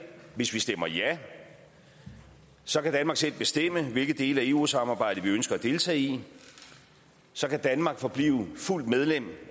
hvis vi stemmer ja så kan danmark selv bestemme hvilke dele af eu samarbejdet vi ønsker at deltage i så kan danmark forblive fuldt medlem